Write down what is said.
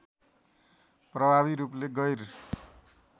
प्रभावी रूपले गैर